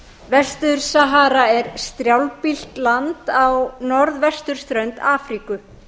vestur til sahara er strjálbýlt land á norðvesturströnd afríku